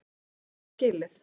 Er það skilið?